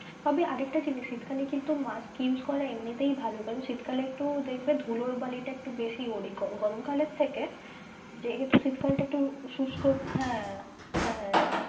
তবে আরেকটা জিনিস শীতকালে কিন্তু mask use করাটা এমনিতেই ভালো কারন শীত কালে একটু দেখবে ধুলো বালি টা একটু বেশিই ওড়ে গরম কালের থেকে যেহেতু শীতকাল টা একটু শুষ্ক, হ্যাঁ হ্যাঁ সেটাই।